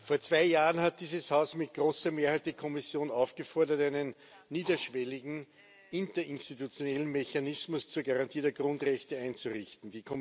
Vor zwei Jahren hat dieses Haus mit großer Mehrheit die Kommission aufgefordert, einen niedrigschwelligen interinstitutionellen Mechanismus zur Garantie der Grundrechte einzurichten.